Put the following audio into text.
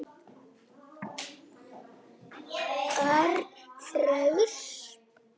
Örn fraus.